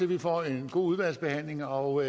vi får en god udvalgsbehandling og